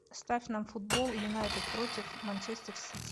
ставь нам футбол юнайтед против манчестер сити